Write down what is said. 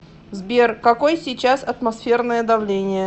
сбер какой сейчас атмосферное давление